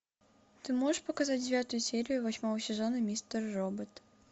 ты можешь показать девятую серию восьмого сезона мистер робот